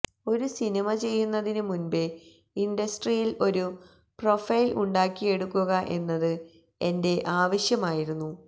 ഒരു സിനിമ ചെയ്യുന്നതിനു മുന്പേ ഇന്ഡസ്ട്രിയില് ഒരു പ്രൊഫൈല് ഉണ്ടാക്കിയെടുക്കുക എന്നത് എന്റെ ആവശ്യമായിരുന്നു